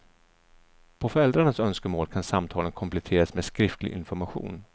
På föräldrarnas önskemål kan samtalen kompletteras med skriftlig information.